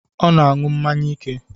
Ọ na na-aṅụ mmanya ike